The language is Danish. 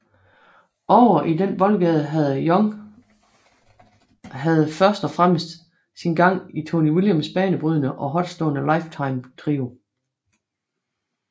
Ovre i den boldgade havde Young havde først og fremmest sin gang i Tony Williams banebrydende og hårdtslående Lifetime trio